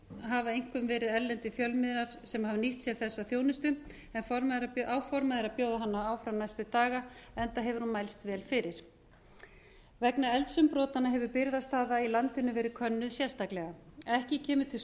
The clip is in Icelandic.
hafa einkum verið erlendir fjölmiðlar sem hafa nýtt sér þessa þjónustu en áformað er að bjóða hana áfram næstu daga enda hefur hún mælst vel fyrir vegna eldsumbrotanna hefur birgðastaða í landinu verið könnuð sérstaklega ekki kemur til